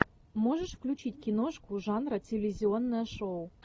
можешь включить киношку жанра телевизионное шоу